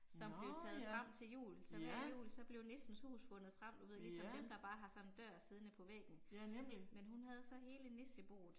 Nåh ja, ja. Ja, ja nemlig